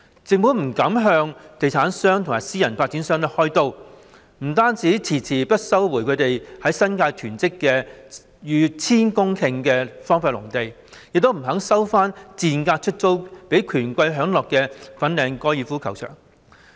政府不敢向地產商或私人發展商開刀，不單遲遲不收回它們在新界囤積的逾千公頃荒廢農地，亦不願收回賤價出租予權貴享樂的粉嶺高爾夫球場。